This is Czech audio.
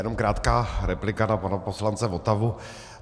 Jenom krátká replika na pana poslance Votavu.